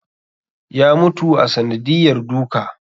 Ya mutu a sanadiyar duka